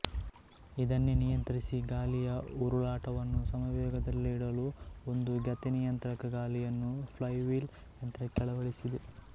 ಇದನ್ನೇ ನಿಯಂತ್ರಿಸಿ ಗಾಲಿಯ ಉರುಳಾಟವನ್ನು ಸಮವೇಗದಲ್ಲಿಡಲು ಒಂದು ಗತಿನಿಯಂತ್ರಕ ಗಾಲಿಯನ್ನು ಫ್ಲೈವೀಲ್ ಯಂತ್ರಕ್ಕೆ ಅಳವಡಿಸಿದೆ